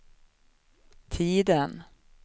tiden